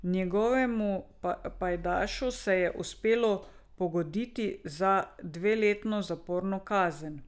Njegovemu pajdašu se je uspelo pogoditi za dveletno zaporno kazen.